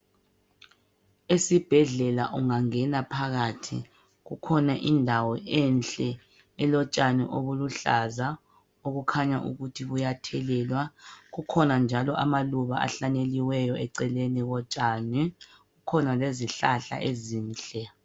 Esibhedlela ungangena phakathi kukhona indawo enhle elotshani obuluhlaza obukhanya ukuthi buyathelelwa. Kukhona njalo amaluba ahlanyeliweyo eceleni kotshani. Kukhona lezihlahla ezinhle.